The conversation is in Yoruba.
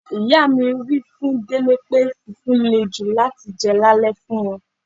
Ìyá mi wí fún Délé pé fufu lè jù láti jẹ lale fún wọn.